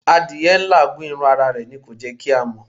Adìyẹ́ ń làágùn, irún ará é ní o jẹ kí a mọ